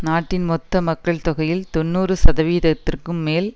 நாட்டின் மொத்த மக்கள் தொகையில் தொன்னூறு சதவிகிதத்திற்கும் மேல்